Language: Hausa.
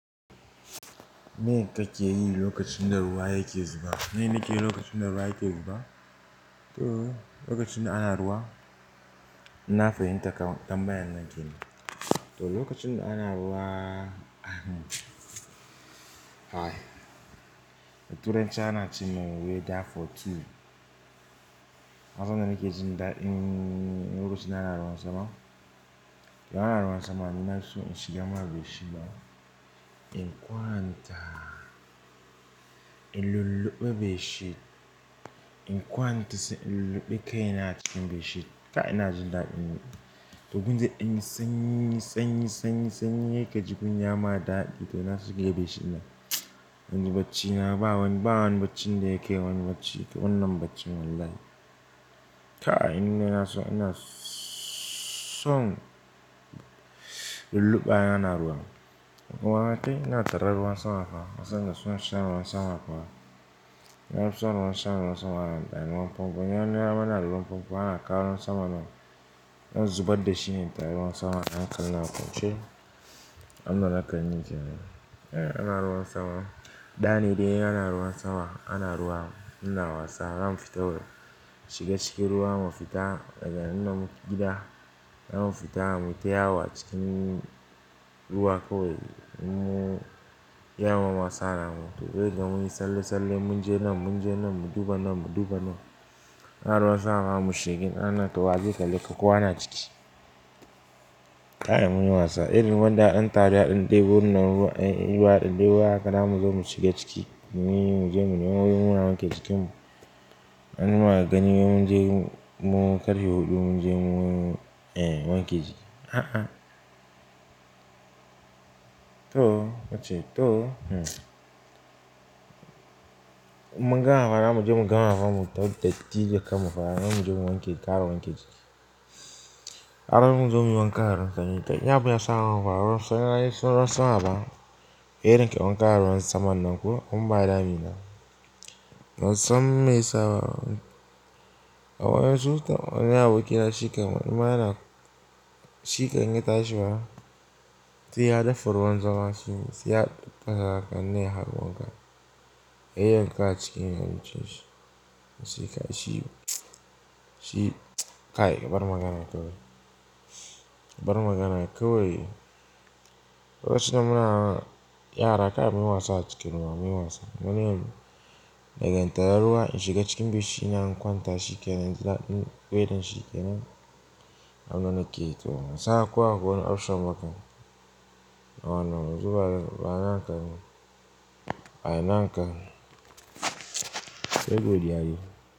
Me kake yi lokacin da ruwa yake zuba? Me nake yi lokacin da ruwa yake zuba? To lokacin da ana ruwa, na fahimta kam tambayan nan kin yi. To lokacin da ana ruwa, ai, tura in ci ana ci mai weather for two da na san da nake jin da in, in lokacinda ana ruwan sama. Idan ana ruwan sama, ni na fiso so in shiga cikin bed sheet ba in kwanta, in lulluɓe bedsheet in kwanta sai in lulluɓe kai na cikin bishiya. Kai na jin da in. To gunzai danyi sanyi, sanyi, sanyi, sanyi yake jikin ya ma dadi to ina so keye bishiyar nan. In ji bacci na ba wani, ba wani bacci da yake yi, wani bacci, wannan baccin wallahi. Kai in nine ina so ina son lulluɓa yana ruwan. In kuma watai ina tare ruwan sama fa. Na san da suna sha ruwan sama fa. Na fi so in an samu ruwan sama, ana ɗani ruwan fanfo. Ina nuna mana ruwan fanfo, ana kawo ruwan sama ɗin. Zan zubar da shi ne in tari ruwan sama, hankali na a kwance. Abun sa zakayi min kenn. Eh, ana ruwan sama. Ɗane dai ana ruwan sama, ana ruwa. Muna wasa, zamu fita waje mu shiga cikin ruwa, mu fita. Da ga in da gida, zamu fita mu yi ta wayo acikin ruwa kawai mu ya wa masa namu. To sai ka ga mun yi salle salle mun je nan, mun je nan, mu duba nan, mu duba nan. Ana ruwan sama mu shiga nan, to wa zai kalle ka kowa na ciki. Ka ai mun wasa. Irin wanda an tari har ɗin tai wurin nan ruwa, ai ruwa ɗin dai ruwa haka za mu zo mu shiga ciki. Mun yi mu je mu nema wuri muna wanke jikinmu. An yi muna gani mun je mu ƙarhe huɗu mun je mu, eh, wanke jiki. A'a. To nace, to, hmm. In mun gama ma zamuje mu gama fa mu ta titi da kan mu fa zamu je mu wanke gkaya, mu wanke jiki. Ana mun zo mun wanka a ruwan sama. Da in abu ya sa ruwan sama fa, ruwan sama yayi ruwan sama ba. Irin kai wanka a ruwan sama nan ko, mun bada a miya. Ban sam miya sa ba. A wani lokaci to wani aboki na shikam, in ma yana shikan in ya tashi ba. Sai ya dafa ruwan zama shi sai ya ɗauka ne har wanka. Ya yayyan ka a cikin a cikin abincin shi. Shika shi, tsa, shi, kai, bar maganan kawai. Bari magana kawai. Lokacin da muna yara, kai mun yi wasa a cikin ruwa, mun yi wasa. Gani yayi, ballantana tare ruwa in shiga cikin bed sheet ɗina ina kwanta shike nan in ji daɗin wethern shike nan, abun da nake yi to ban san ko akwai wani option ba kam. Ai wannan yanzu ba naka ba ne. A ina anka? Sai godiya dai.